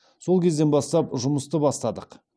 сол кезден бастап жұмысты бастадық